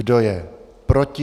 Kdo je proti?